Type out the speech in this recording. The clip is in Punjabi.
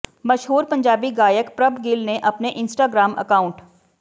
ਮਸ਼ਹੂਰ ਪੰਜਾਬੀ ਗਾਇਕ ਪ੍ਰਭ ਗਿੱਲ ਨੇ ਆਪਣੇ ਇੰਸਟ੍ਰਾਗ੍ਰਾਮ ਅਕਾਊਂਟ